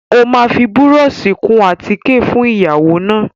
Ó máa fi búrọ́ọ̀ṣì kun àtíkè fún ìyàwó náà.